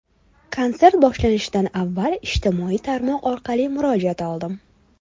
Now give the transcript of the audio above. Konsert boshlanishidan avval ijtimoiy tarmoq orqali murojaat oldim.